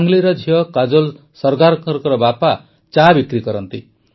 ସାଙ୍ଗଲିର ଝିଅ କାଜୋଲ୍ ସରଗାରଙ୍କ ବାପା ଚା ବିକ୍ରି କରନ୍ତି